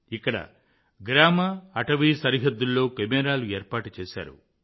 ఇక్కడ గ్రామ అటవీ సరిహద్దుల్లో కెమెరాలు ఏర్పాటు చేశారు